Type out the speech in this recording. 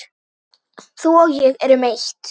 Þú og ég erum eitt.